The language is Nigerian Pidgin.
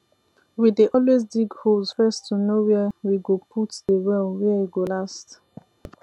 we dey always dig holes first to know where we go put de well where e go last